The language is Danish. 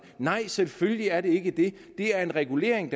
nej selvfølgelig er det ikke det det er en regulering